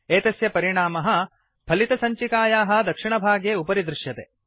एतस्य परिणामः फलितसञ्चिकायाः दक्षिणभागे उपरि दृश्यते